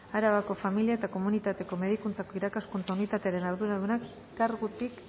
arabako familia eta komunitateko medikuntzako irakaskuntza unitatearen arduraduna kargutik